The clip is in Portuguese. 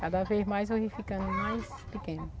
Cada vez mais o rio ficando mais pequeno.